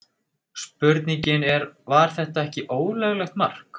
Spurningin er var þetta ekki ólöglegt mark?